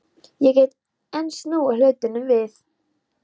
Ég get enn snúið hlutunum við.